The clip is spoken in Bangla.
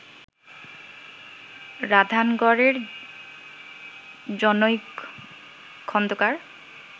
রাধানগরের জনৈক খন্দকার